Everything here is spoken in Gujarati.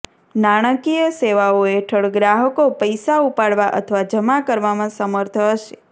નાણાકીય સેવાઓ હેઠળ ગ્રાહકો પૈસા ઉપાડવા અથવા જમા કરવામાં સમર્થ હશે